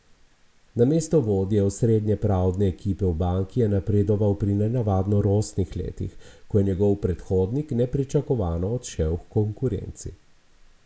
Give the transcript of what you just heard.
Na mesto vodje osrednje pravne ekipe v banki je napredoval pri nenavadno rosnih letih, ko je njegov predhodnik nepričakovano odšel h konkurenci.